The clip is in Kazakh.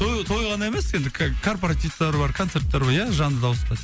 той той ғана емес енді корпоративтар бар концерттер бар ия жанды дауыста